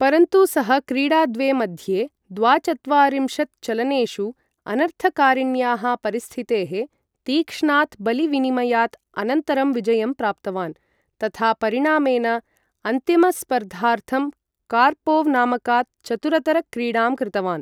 परन्तु सः क्रीडा द्वे मध्ये, द्वाचत्वारिंशत् चलनेषु अनर्थकारिण्याः परिस्थितेः, तीक्ष्णात् बलि विनिमयात् अनन्तरं विजयं प्राप्तवान् तथा परिणामेन अन्तिम स्पर्धार्थं कार्पोव् नामकात् चतुरतरक्रीडां कृतवान्।